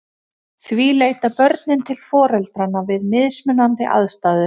Því leita börnin til foreldranna við mismunandi aðstæður.